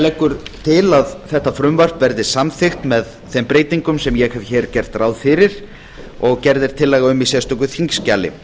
leggur til að þetta frumvarp verði samþykkt með þeim breytingum sem ég hef gert ráð fyrir og gerð er tillaga um í sérstöku þingskjali